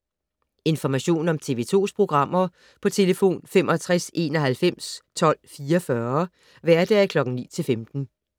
Information om TV 2's programmer: 65 91 12 44, hverdage 9-15.